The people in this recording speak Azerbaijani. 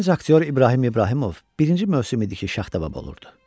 Gənc aktyor İbrahim İbrahimov birinci mövsüm idi ki, Şaxta baba olurdu.